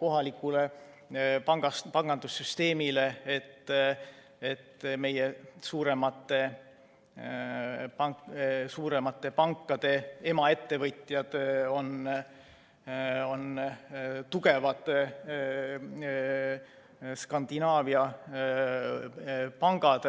kohalikule pangandussüsteemile – see, et meie suuremate pankade emaettevõtjad on tugevad Skandinaavia pangad.